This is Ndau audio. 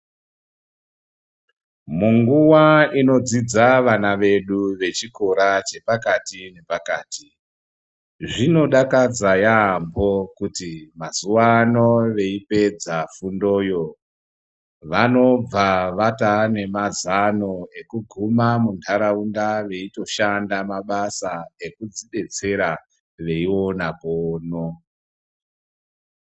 Munguwa inodzidza vana vedu vechikora chepakati zvinodakadza yampho kuti mazuwa ano veipedza fundoyo vanobva varova nemazano ekuguma munharaunda veitoshanda mabasa ekuzvidetsera veiona pono.